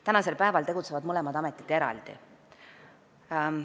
Tänasel päeval tegutsevad mõlemad ametid eraldi.